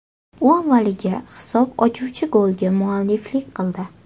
U avvaliga hisob ochuvchi golga mualliflik qildi.